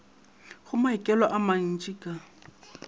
go maikelo a mantšhi ka